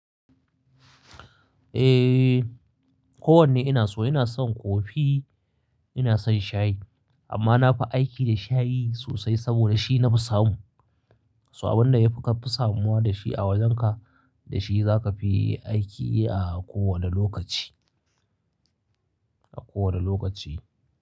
Eh, ko wanne ina so. Ina son kofi, ina son shayi amma na fi aiki da shayi sosai saboda shi na fi samu. Saboda abin da ya fi ka fi samuwa da shi a wajenka, da shi za ka fi aiki a kowane lokaci, a kowane lokaci.